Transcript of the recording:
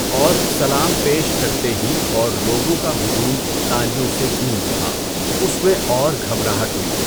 اور سلام پیش کرتے ہی اور لوگوں کا ہجوم تالیوں سے گونج اُٹھا، اُس میں اور گھبراہٹ ہوئی۔